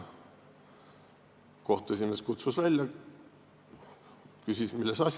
Kohtu esimees kutsus mind välja ja küsis, milles asi.